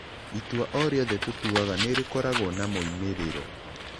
Itua o rĩothe tũtuaga nĩ rĩkoragwo na moimĩrĩro.